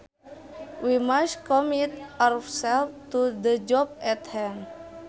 We must commit ourselves to the job at hand